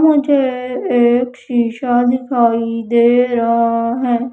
मुझे एक शीशा दिखाई दे रहा है।